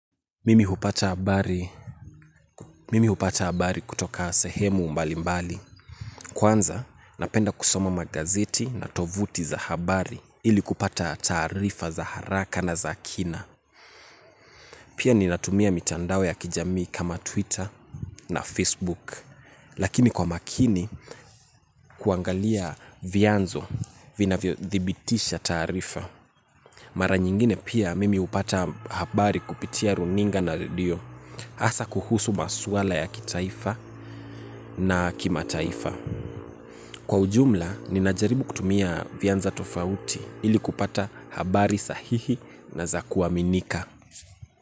Mimi hupata habari, mimi hupata habari kutoka sehemu mbali mbali. Kwanza, napenda kusoma magazeti na tovuti za habari ili kupata tarifa za haraka na za kina. Pia ninatumia mitandao ya kijamii kama Twitter na Facebook. Lakini kwa makini, kuangalia vianzo vinavyo thibitisha tarifa. Mara nyingine pia, mimi hupata habari kupitia runinga na radio. Hasa kuhusu maswala ya kitaifa na kimataifa. Kwa ujumla, ninajaribu kutumia vianza tofauti ili kupata habari sahihi na zakuaminika.